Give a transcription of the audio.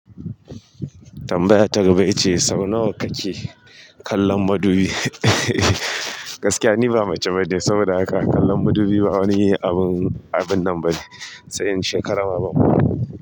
Tambaya ta gaba ya ce sau nawa kake kallon madubi? Gaskiya ni ba mace bane, saboda haka kallan madubi ba wani abin, abin nan ba ne, sai in shekara ba madubi.